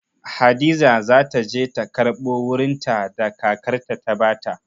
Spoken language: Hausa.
Hadiza za ta je ta karɓo wurinta da kakarta ta ba ta.